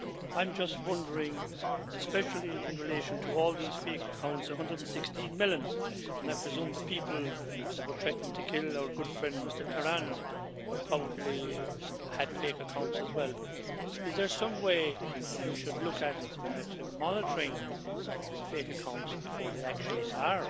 I'm just wondering, especially in relation to all these fake accounts 116 million and I presume the people that were threatening to kill our good friend Mr Tarand probably had fake accounts as well, is there some way that we should look at monitoring fake accounts before they actually are